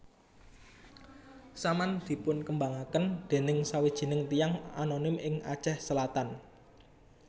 Saman dipunkembangaken dening sawijining tiyang anonim ing Aceh Selatan